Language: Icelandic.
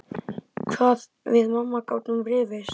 Hvað við mamma gátum rifist.